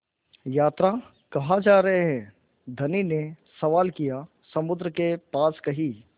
यात्रा कहाँ जा रहे हैं धनी ने सवाल किया समुद्र के पास कहीं